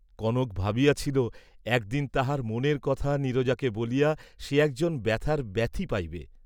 কনক ভাবিয়াছিল, একদিন তাহার মনের কথা নীরজাকে বলিয়া সে একজন ব্যথার ব্যথী পাইবে।